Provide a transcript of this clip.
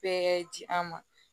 Bɛɛ ji an ma